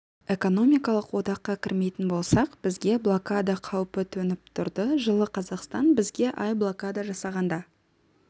экономикалық одаққа кірмейтін болсақ бізге блокада қаупі төніп тұрды жылы қазақстан бізге ай блокада жасағанда